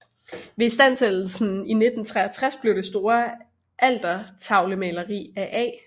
Ved istandsættelsen i 1963 blev det store altertavlemaleri af A